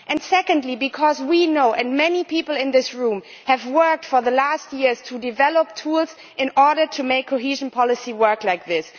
Secondly, because many people in this room have worked for the last few years to develop tools in order to make cohesion policy work like this.